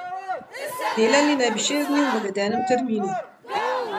Delali naj bi šest dni v navedenem terminu.